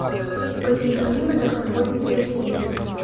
в каких климатах находится россия